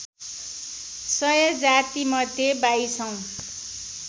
सय जातिमध्ये बाइसौँ